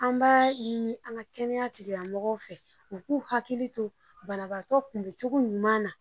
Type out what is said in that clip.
An b'a ɲini an ka kɛnɛya tigilamɔgɔw fɛ u k'u hakili to banabaatɔ kunbɛ cogo ɲuman na.